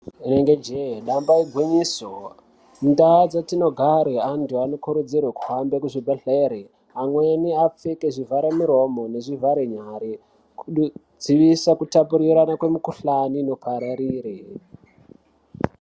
Rinenge jee damba igwinyiso mundaa dzetinogare anthu anokurudzirwe kuhamve kuzvibhedhlere amweni apfeke zvivharamuromo nezvivharenyara kudzivisa kupapurirana kwemikuhlani inopararira.